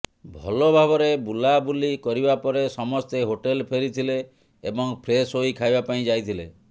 ଭଲଭାବରେ ବୁଲାବୁଲି କରିବା ପରେ ସମସ୍ତେ ହୋଟେଲ୍ ଫେରିଥିଲେ ଏବଂ ଫ୍ରେସ୍ ହୋଇ ଖାଇବା ପାଇଁ ଯାଇଥିଲେ